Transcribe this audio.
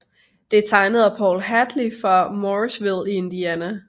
Det er tegnet af Paul Hadley fra Mooresville i Indiana